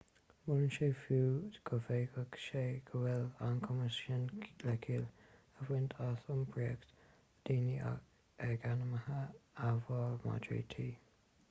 molann sé fiú go bhféadfaidh sé go bhfuil an cumas sin le ciall a bhaint as iompraíocht daoine ag ainmhithe amhail madraí tí